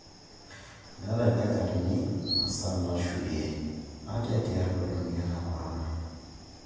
Meeta ildakitarini imasaa nashurie ate tialo ena moyian e Corona